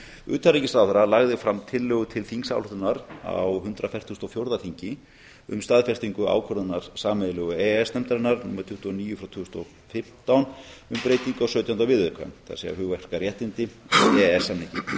utanríkisráðherra lagði fram tillögu til þingsályktunar á hundrað fertugasta og fjórða þingi um staðfestingu ákvörðunar sameiginlegu e e s nefndarinnar númer tuttugu og níu tvö þúsund og fimmtán um breytingu á sautjánda viðauka það er hugverkaréttindi við e e s samninginn